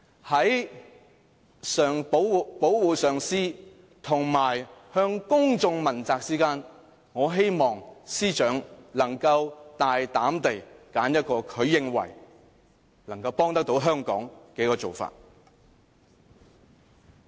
在保護上司及向公眾問責之間，我希望司長能夠大膽地選擇一個她認為能夠幫助香港的做法。